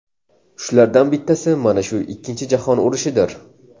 Shulardan bittasi mana shu Ikkinchi jahon urushidir.